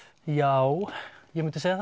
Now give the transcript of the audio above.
já ég mundi segja